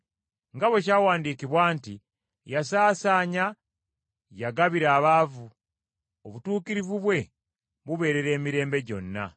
nga bwe kyawandiikibwa nti, “Yasaasaanya, yagabira abaavu. Obutuukirivu bwe bubeerera emirembe gyonna.”